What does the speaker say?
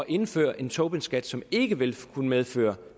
indføre en tobinskat som ikke vil kunne medføre